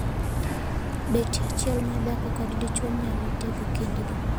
Betie achiel mar dhako kod dichwo nyalo tego kindgi.